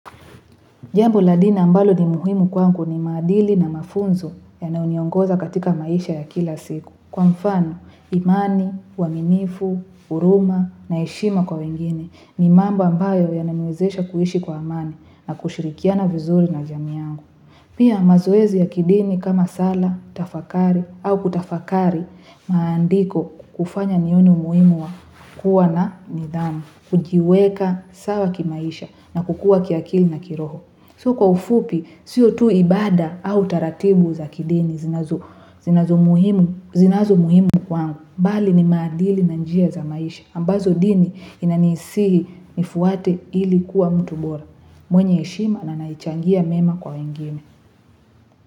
Jambo la dina ambalo ni muhimu kwangu ni maadili na mafunzo yanaoniongoza katika maisha ya kila siku. Kwa mfano, imani, uwaminifu, uruma, na heshima kwa wengine ni mambo ambayo yanawezesha kuishi kwa amani na kushirikiana vizuri na jamii yangu. Pia mazoezi ya kidini kama sala, tafakari, au kutafakari maandiko kufanya nione umuhimu wa kuwa na nidhamu. Kujiweka sawa kimaisha na kukua kiakila na kiroho. So kwa ufupi, sio tu ibada au taratibu za kidini. Zinazo muhimu kwa kwangu. Bali ni maadili na ni njia za maisha. Ambazo dini inanisihi nifuate ili kuwa mtu bora. Mwenye heshima na anaechangia mema kwa wengine.